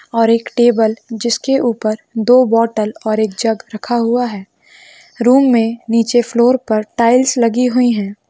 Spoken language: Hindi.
और एक टेबल जिसके ऊपर दो बोतल और एक जग रखा हुआ है रूम में नीचे फ्लोर पर टाइल्स लगी हुई है।